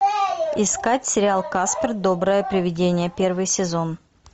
искать сериал каспер доброе привидение первый сезон